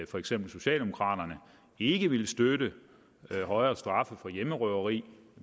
for eksempel socialdemokraterne ikke ville støtte højere straffe for hjemmerøveri